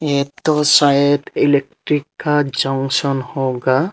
यह तो शायद इलेक्ट्रिक जंक्शन होगा।